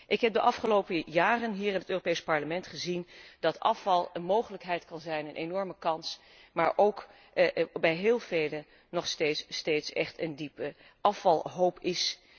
Ik heb de afgelopen jaren hier in het Europees Parlement gezien dat afval een mogelijkheid kan zijn, een enorme kans, maar dat er bij heel velen nog steeds echt een hoge afvalhoop is.